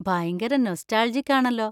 ഭയങ്കര നൊസ്റ്റാൾജിക് ആണല്ലോ.